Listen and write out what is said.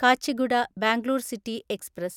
Kacheguda Bangalore City express